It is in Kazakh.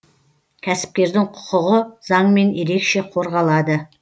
кәсіпкердің құқығы заңмен ерекше қорғалады